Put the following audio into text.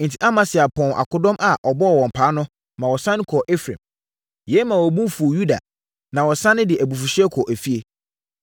Enti, Amasia pɔnn akodɔm a ɔbɔɔ wɔn paa no, maa wɔsane kɔɔ Efraim. Yei maa wɔn bo fuu Yuda, na wɔsane de abufuhyeɛ kɔɔ efie.